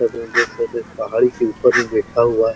Photo मे देख सके पहाड़ी के ऊपर मे बैठा हुआ है।